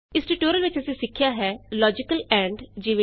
ਇਸ ਟਿਯੂਟੋਰਿਅਲ ਵਿਚ ਅਸੀਂ ਸਿੱਖਿਆ ਹੈ ਲੋਜੀਕਲ ਐਂਡ ਈਜੀ